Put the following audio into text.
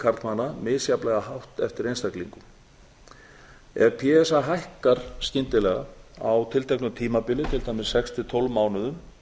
karlmanna misjafnlega hátt eftir einstaklingum ef p s a hækkar skyndilega á tilteknu tímabili til dæmis sex til tólf mánuðum